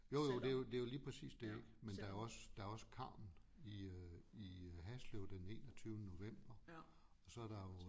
Jo jo det jo det jo lige præcis det ikke men der er også der er også Carmen i øh i øh Haslev den enogtyvende november og så der jo